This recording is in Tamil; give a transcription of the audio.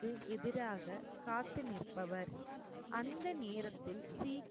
க்கு எதிராக காத்து நிற்ப்பவர். அந்த நேரத்தில் சீக்